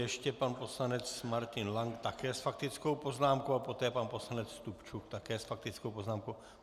Ještě pan poslanec Martin Lank také s faktickou poznámkou a poté pan poslanec Stupčuk také s faktickou poznámkou.